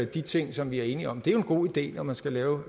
de ting som vi er enige om det er jo en god idé når man skal lave